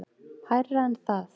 Hærra en það.